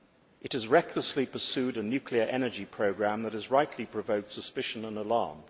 It has recklessly pursued a nuclear energy programme that has rightly provoked suspicion and alarm.